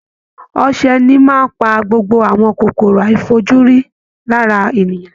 Ọsẹ ní máa ń pa gbogbo àwọn kòkòrò àìfojúrí lára ènìyàn